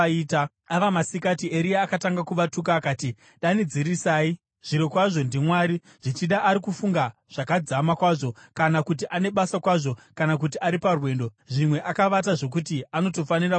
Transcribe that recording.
Ava masikati, Eria akatanga kuvatuka akati, “Danidzirisai! Zvirokwazvo ndimwari! Zvichida ari kufunga zvakadzama kwazvo, kana kuti ane basa kwazvo, kana kuti ari parwendo. Zvimwe akavata zvokuti anotofanira kumutswa.”